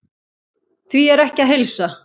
Því er ekki að heilsa.